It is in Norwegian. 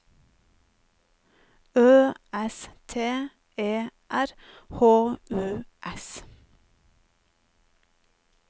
Ø S T E R H U S